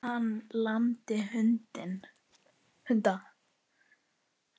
Hann lamdi hunda